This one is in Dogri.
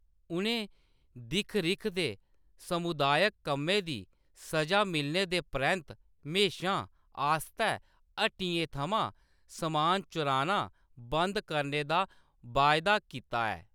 उʼनें दिक्ख-रिक्ख ते समुदायक कम्मै दी सʼजा मिलने दे परैंत्त म्हेशां आस्तै हट्टियें थमां समान चुराना बंद करने दा वायदा कीता ऐ।